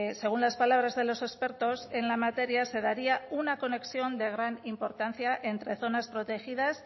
según las palabras de los expertos en la materia se daría una conexión de gran importancia entre zonas protegidas